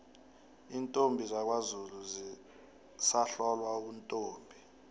iintombi zakwazulu zisahlolwa ubuntombi